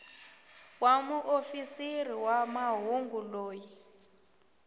wa muofisiri wa mahungu loyi